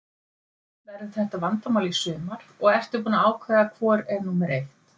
Verður þetta vandamál í sumar og ertu búinn að ákveða hvor er númer eitt?